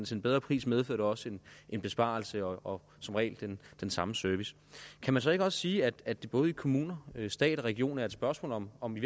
til en bedre pris medfører det også en besparelse og som regel den samme service kan man så ikke også sige at det både i kommuner stat og regioner er et spørgsmål om om i